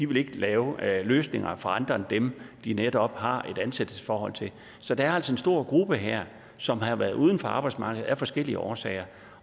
vil lave løsninger for andre end dem de netop har et ansættelsesforhold til så der er altså en stor gruppe her som har været uden for arbejdsmarkedet af forskellige årsager